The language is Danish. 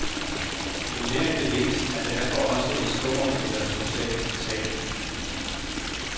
Enhver gevinst er derfor også et stort eller totalt tab.